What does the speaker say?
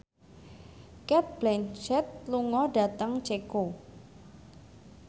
Cate Blanchett lunga dhateng Ceko